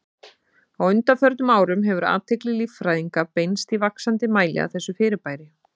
Á undanförnum árum hefur athygli líffræðinga beinst í vaxandi mæli að þessu fyrirbæri.